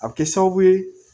A bɛ kɛ sababu ye